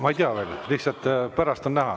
Ma ei tea veel, pärast on näha.